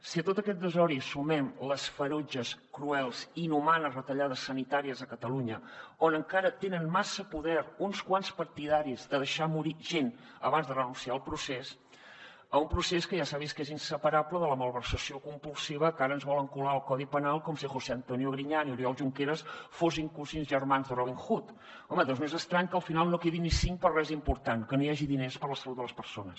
si a tot aquest desori hi sumem les ferotges cruels i inhumanes retallades sanitàries a catalunya on encara tenen massa poder uns quants partidaris de deixar morir gent abans de renunciar al procés un procés que ja s’ha vist que és inseparable de la malversació compulsiva que ara ens volen colar al codi penal com si josé antonio griñán i oriol junqueras fossin cosins germans de robin hood home doncs no és estrany que al final no en quedin ni cinc per a res important que no hi hagi diners per a la salut de les persones